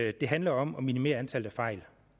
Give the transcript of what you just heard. at det handler om at minimere antallet af fejl